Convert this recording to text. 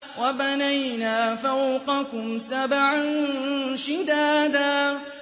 وَبَنَيْنَا فَوْقَكُمْ سَبْعًا شِدَادًا